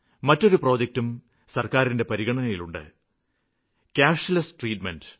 മറ്റൊരു പ്രോജക്ടും സര്ക്കാരിന്റെ പരിഗണനയില് ഉണ്ട് കാഷ്ലെസ് ട്രീറ്റ്മെന്റ്